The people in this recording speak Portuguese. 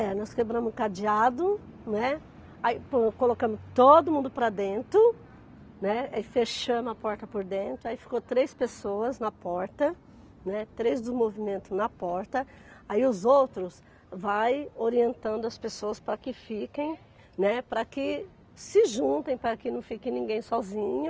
É, nós quebramos o cadeado, né, aí pronto colocamos todo mundo para dentro, né, aí fechamos a porta por dentro, aí ficou três pessoas na porta, né, três do movimento na porta, aí os outros vai orientando as pessoas para que fiquem, né, para que se juntem, para que não fiquem ninguém sozinha,